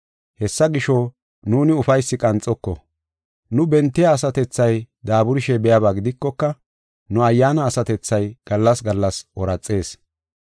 Hessa gisho, nuuni ufaysi qanxoko. Nu bentiya asatethay daaburishe biyaba gidikoka, nu ayyaana asatethay gallas gallas ooraxees.